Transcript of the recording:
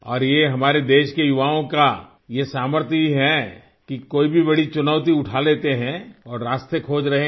और ये हमारे देश के युवाओं का ये सामर्थ्य ही है कि कोई भी बड़ी चुनौती उठा लेते हैं और रास्ते खोज रहें हैं